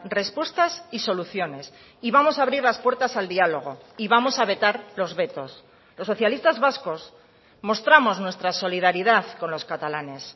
respuestas y soluciones y vamos a abrir las puertas al diálogo y vamos a vetar los vetos los socialistas vascos mostramos nuestra solidaridad con los catalanes